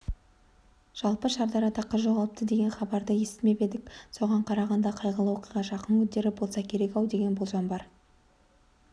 жалпы шардарада қыз жоғалыпты деген хабарды естімеп едік соған қарағанда қайғылы оқиға жақын күндері болса керек-ау деген болжам бар